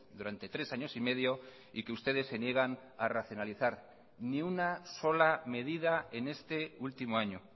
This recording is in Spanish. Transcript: durante tres años y medio y que ustedes se niegan a racionalizar ni una sola medida en este último año